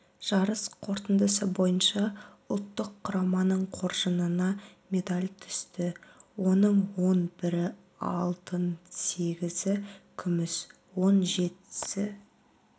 жарыс қортындысы бойынша ұлттық құраманың қоржынына медаль түсті оның он бірі алтын сегізі күміс он жетісі